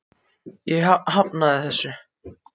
Ég hafnaði þessu.